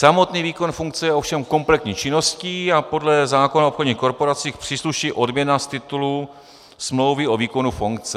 Samotný výkon funkce je ovšem kompletní činností a podle zákona o obchodních korporacích přísluší odměna z titulu smlouvy o výkonu funkce.